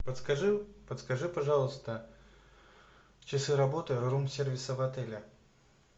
подскажи подскажи пожалуйста часы работы рум сервиса в отеле